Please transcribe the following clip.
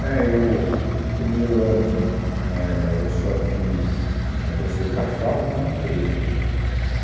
Né, eu, No primeiro ano, éh, eu só fiz... né, prestei para a FAO e não entrei, né.